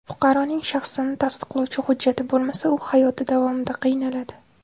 Fuqaroning shaxsini tasdiqlovchi hujjati bo‘lmasa u hayoti davomida qiynaladi.